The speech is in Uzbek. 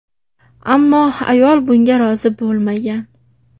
Ammo ayol bunga rozi bo‘lmagan.